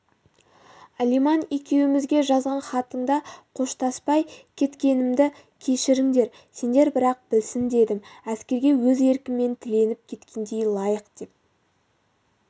алиман екеумізге жазған хатыңда қоштаспай кеткенімді кешіріңдер сендер бірақ білсін дедім әскерге өз еркіммен тіленіп кеткенді лайық деп